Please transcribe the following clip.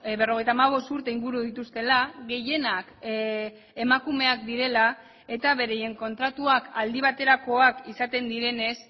berrogeita hamabost urte inguru dituztela gehienak emakumeak direla eta beraien kontratuak aldi baterakoak izaten direnez